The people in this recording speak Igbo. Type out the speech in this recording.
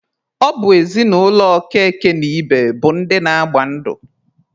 Ọ bụ ezinụlọ Okeke na Ibe bụ ndị na-agba ndụ.